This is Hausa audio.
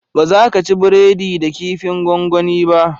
Baza ka ci breadi da kifin gongoni ba